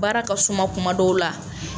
Baara ka suma kuma dɔw la.